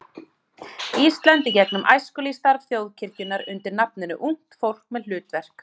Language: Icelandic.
Íslands í gegnum æskulýðsstarf þjóðkirkjunnar undir nafninu Ungt fólk með hlutverk.